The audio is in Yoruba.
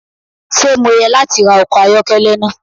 Ṣe Mo yẹ lati ra ọkọ ayọkẹlẹ naa?